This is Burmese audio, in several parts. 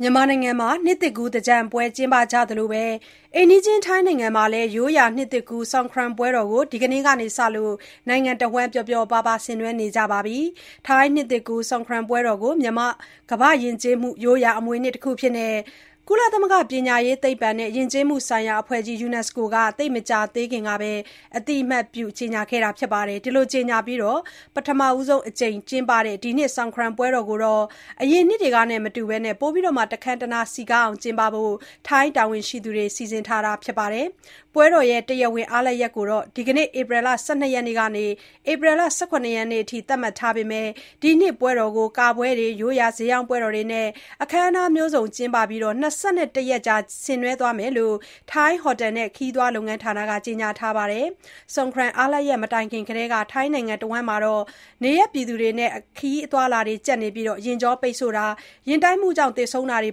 မြန်မာနိုင်ငံမှာ နှစ်သစ်ကူး သင်္ကြန်ပွဲ ကျင်းပကြသလိုပဲ အိမ်နီးချင်း ထိုင်းနိုင်ငံမှာလည်း ရိုးရာနှစ်သစ်ကူး Songkran ပွဲတော်ကို ဒီကနေ့ကစလို့ နိုင်ငံတဝန်း ပျော်ပျော်ပါးပါး ဆင်နွှဲနေကြပါပြီ။ ထိုင်းနှစ်ကူး Songkran ပွဲတော်ကို ကမ္ဘာ့ယဉ်ကျေးမှု ရိုးရာအမွေအနှစ် တခုအဖြစ် ကုလသမဂ္ဂ ပညာရေး၊ သိပ္ပံနဲ့ ယဉ်ကျေးမှုဆိုင်ရာ အဖွဲ့ကြီး UNESCO က သိပ်မကြာခင်ကပဲ အသိအမှတ်ပြု ကြေညာခဲ့သလို၊ ဒီလိုကြေညာပြီး ပထမဆုံးအကြိမ် ကျင်းပတဲ့ ဒီနှစ် Songkran ပွဲတော်ကို အရင်နှစ်တွေနဲ့မတူ ပိုပြီး တခမ်းတနား စည်ကားအောင်ကျင်းပဖို့ ထိုင်းတာဝန်ရှိသူတွေ စီစဉ်ထားတာပါ။ ပွဲတော် တရားဝင် အားလပ်ရက်ကို ဒီကနေ့ ဧပြီလ ၁၂ ရက် နေ့ကနေ ၁၇ ရက်နေ့အထိ သတ်မှတ်ထားပေမဲ့ ဒီနှစ်ပွဲတော်ကို ကပွဲတွေ၊ ရိုးရာ ဈေးရောင်းပွဲတော်တွေနဲ့ အခမ်းအနားမျိုးစုံ ကျင်းပပြီး ၂၁ ရက်ကြာ ဆင်နွှဲသွားမယ်လို့ ထိုင်း ဟော်တယ်နဲ့ ခရီးသွားလုပ်ငန်းဌာန ကတော့ ကြေညာထားပါတယ်။ Songkran အားလပ်ရက် မတိုင်ခင်ကတည်းက ထိုင်းနိုင်ငံတဝန်း နေရပ်ပြည်သူတွေနဲ့ ခရီးအသွားအလာ ကျပ်ပြီး ယာဥ်ကြောပိတ်ဆို့တာ၊ ယာဥ်တိုက်မှုကြောင့် သေဆုံးတာတွေ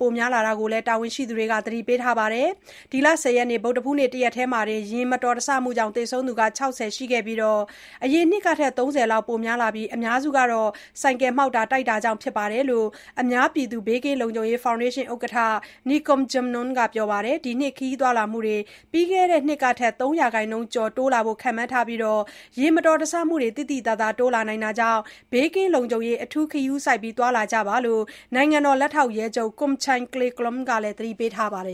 ပိုများလာတာကို တာဝန်ရှိသူတွေက သတိပေးထားပါတယ်။ ဒီလ ၁၀ ရက် ဗုဒ္ဓဟူးနေ့ တရက်တည်းမှာတင် ယာဥ်မတော်တဆမှုကြောင့် သေဆုံးသူ ၆၀ ရှိပြီး အရင်နှစ်ကထက် ၃၀ လောက် ပိုများလာတာ ဖြစ်ပြီး အများစုက မော်တော်ဆိုင်ကယ်မှောက်တာ၊ တိုက်တာတွေကြောင့် ဖြစ်တယ်လို့ အများပြည်သူ ဘေးကင်းလုံခြုံရေး ဖောင်ဒေးရှင်း ဥက္ကဋ္ဌ Nikorn Jamnong က ပြောပါတယ်။ ဒီနှစ် ခရီးသွားလာမှုတွေ ပြီးခဲ့တဲ့နှစ်ကထက် ၃ % ကျော်အထိ တိုးလာဖို့ ခန့်မှန်းထားပြီး ယာဥ်မတော်တဆမှုတွေ သိသိသာသာ တိုးလာတာကြောင့် ဘေးကင်းလုံခြုံရေး အထူး ဂရုစိုက် သွားလာကြဖို့ နိုင်ငံတော် လက်ထောက်ရဲချုပ် Kornchai Klayklueng ကလည်း သတိပေးထားပါတယ်